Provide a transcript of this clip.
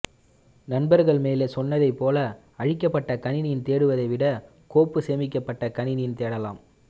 நண்பர்கள் மேலே சொன்னதைப்போல அழிக்கப்பட்ட கணினியில் தேடுவதைவிட கோப்பு சேமிக்கப்பட்ட கணினியில் தேடலாம்